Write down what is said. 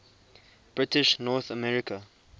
british north america